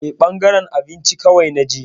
Eh, ɓangaren abinci kawai na je.